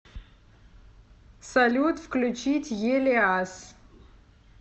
салют включить елиас